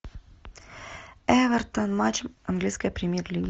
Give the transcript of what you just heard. эвертон матч английской премьер лиги